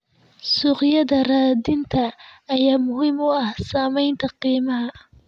Suuqyada raadinta ayaa muhiim u ah saameynta qiimaha.